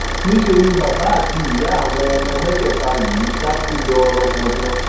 níṣẹ ni bàbá àti ìyá àwọn ọmọ mẹtẹẹta yìí dákú lọ rangbọndan